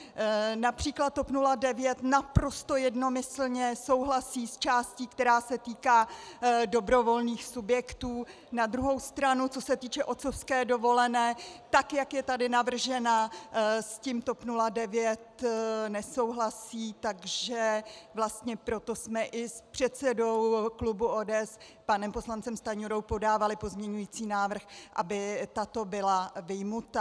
Například TOP 09 naprosto jednomyslně souhlasí s částí, která se týká dobrovolných subjektů, na druhou stranu co se týče otcovské dovolené, tak jak je tady navržena, s tím TOP 09 nesouhlasí, takže vlastně proto jsme i s předsedou klubu ODS panem poslancem Stanjurou podávali pozměňující návrh, aby tato byla vyjmuta.